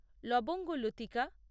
লবঙ্গ লতিকা